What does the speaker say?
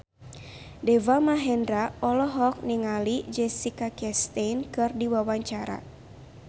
Deva Mahendra olohok ningali Jessica Chastain keur diwawancara